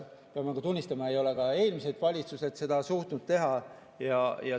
Pean tunnistama, et ei ole ka eelmised valitsused seda suutnud teha.